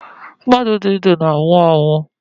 Mmadụ di ndu na-anwụ anwụ